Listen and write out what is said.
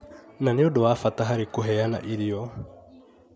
na nĩ ũndũ wa bata harĩ kũheana irio,